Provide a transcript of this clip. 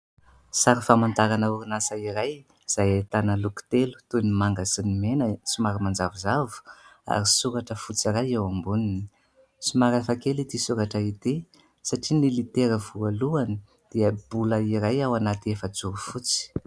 Sary famantarana orinasa iray izay ahitana loko telo toy: ny manga sy ny mena somary manjavozavo, ary soratra fotsy iray eo amboniny. Somary hafa kely ity soratra ity satria ny litera voalohany dia bolina iray ao anaty efajoro fotsy.